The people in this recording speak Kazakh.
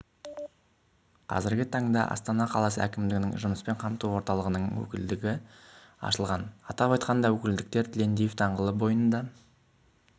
қазіргі таңда астана қаласы әкімдігінің жұмыспен қамту орталығының өкілдігі ашылған атап айтқанда өкілдіктер тілендиев даңғылы бойында